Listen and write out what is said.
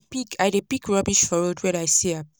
I dey pick I dey pick rubbish for road wen I see am.